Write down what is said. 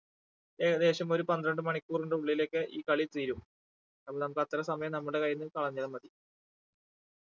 ഏകദേശം ഒരു പന്ത്രണ്ട് മണിക്കൂറിന്റെ ഉള്ളിലൊക്കെ ഈ കളി തീരും അപ്പൊ നമുക്ക് അത്ര സമയം നമ്മുടെ കയ്യിന്ന് കളഞ്ഞ മതി